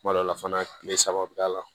Kuma dɔ la fana tile saba bɛ k'a la